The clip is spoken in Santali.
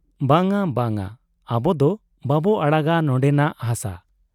ᱵᱟᱝ ᱟ ᱵᱟᱝ ᱟ, ᱟᱵᱚᱫᱚ ᱵᱟᱵᱚ ᱟᱲᱟᱜᱟ ᱱᱚᱱᱰᱮᱱᱟᱜ ᱦᱟᱥᱟ ᱾